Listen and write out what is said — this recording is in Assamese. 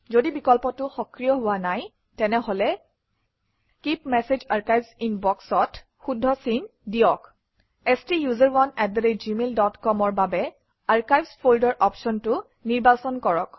যদি বিকল্পটো সক্ৰিয় হোৱা নাই তেনেহলে keep message archives in box অত শুদ্ধ চিন দিয়ক ষ্টাচাৰণে আত gmailcom অৰ বাবে আৰ্কাইভছ ফল্ডাৰ অপশ্যনটো নিৰ্বাচন কৰক